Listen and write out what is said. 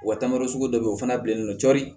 Wa taamara sugu dɔ bɛ ye o fana bilalen don cɔri